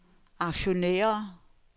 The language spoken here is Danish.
aktionærer